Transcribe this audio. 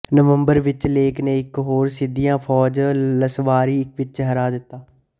ਨਵੰਬਰ ਵਿੱਚ ਲੇਕ ਨੇ ਇੱਕ ਹੋਰ ਸਿੰਦੀਆ ਫ਼ੌਜ ਲਸਵਾਰੀ ਵਿੱਚ ਹਰਾ ਦਿੱਤਾ